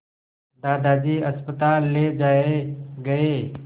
दादाजी अस्पताल ले जाए गए